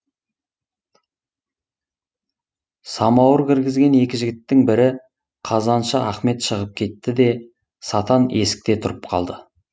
самауыр кіргізген екі жігіттің бірі қазаншы ахмет шығып кетті де сатан есікте тұрып қалды